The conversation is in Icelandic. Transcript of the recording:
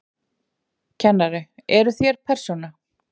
Kennari: Eruð þér persóna?